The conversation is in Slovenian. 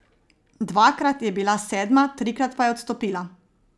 Dvakrat je bila sedma, trikrat pa je odstopila.